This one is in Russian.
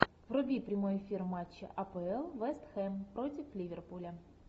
вруби прямой эфир матча апл вест хэм против ливерпуля